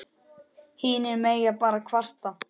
Hinir mega bara kvarta.